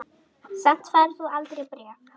Samt færð þú aldrei bréf.